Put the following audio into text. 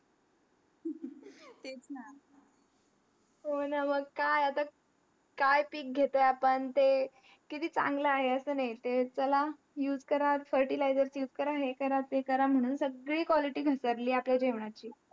हो ना मग काय काय पीक घेतोय आपण मग ते किती चांगला आहे असा नाही ते चला use करा fertiliser याच use करा आणि हे करा ते करा म्हणून सांगली quality घसरलीय आपल्या जेवण ची